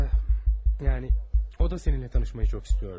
Yəni o da səninlə tanışmağı çox istəyirdi.